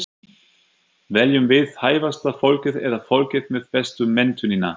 Veljum við hæfasta fólkið eða fólkið með bestu menntunina?